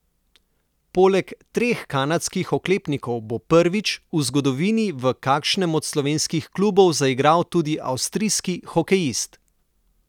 Poleg treh kanadskih oklepnikov bo prvič v zgodovini v kakšnem od slovenskih klubov zaigral tudi avstrijski hokejist.